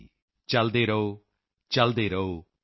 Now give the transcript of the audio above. ਚਲਤੇ ਰਹੋਚਲਤੇ ਰਹੋਚਲਤੇ ਰਹੋ